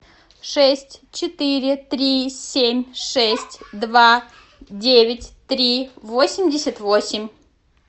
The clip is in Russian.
шесть четыре три семь шесть два девять три восемьдесят восемь